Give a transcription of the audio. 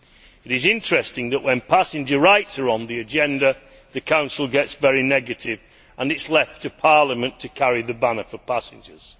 It is interesting that, when passenger rights are on the agenda, the Council gets very negative and it is left to Parliament to carry the banner for passengers.